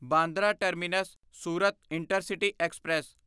Bandra terminus Surat intercity express